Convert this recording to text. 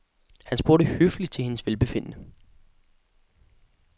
Han spurgte høfligt til hendes velbefindende.